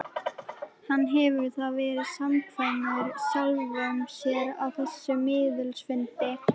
Hann hefur þá verið samkvæmur sjálfum sér á þessum miðilsfundi.